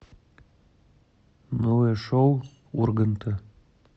новое шоу урганта